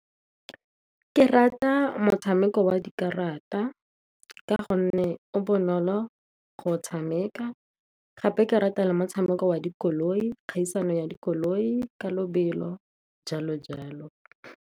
Ke rata motshameko wa dikarata, ka gonne o bonolo go o tshameka. Gape ke rata motshameko wa dikoloi, kgaisano ya dikoloi ka lobelo jalo jalo.